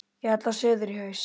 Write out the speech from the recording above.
Ég ætla suður í haust.